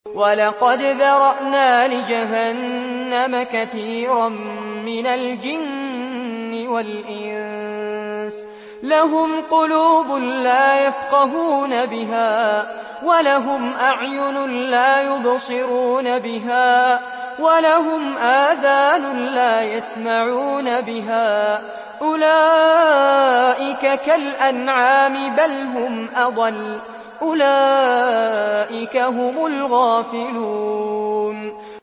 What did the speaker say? وَلَقَدْ ذَرَأْنَا لِجَهَنَّمَ كَثِيرًا مِّنَ الْجِنِّ وَالْإِنسِ ۖ لَهُمْ قُلُوبٌ لَّا يَفْقَهُونَ بِهَا وَلَهُمْ أَعْيُنٌ لَّا يُبْصِرُونَ بِهَا وَلَهُمْ آذَانٌ لَّا يَسْمَعُونَ بِهَا ۚ أُولَٰئِكَ كَالْأَنْعَامِ بَلْ هُمْ أَضَلُّ ۚ أُولَٰئِكَ هُمُ الْغَافِلُونَ